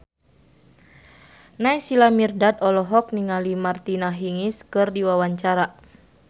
Naysila Mirdad olohok ningali Martina Hingis keur diwawancara